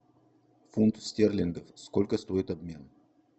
фунт стерлингов сколько стоит обмен